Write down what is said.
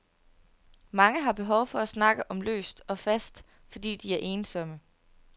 Mange har behov for at snakke om løst og fast, fordi de er ensomme.